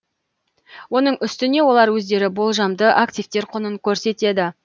оның үстіне олар өздері болжамды активтер құнын көрсетеді